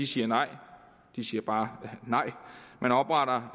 siger nej de siger bare nej man opretter